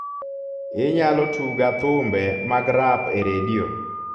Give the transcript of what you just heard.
inyalo tuga thumbe mag rap e redio